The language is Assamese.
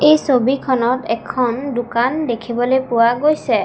এই ছবিখনত এখন দোকান দেখিবলৈ পোৱা গৈছে।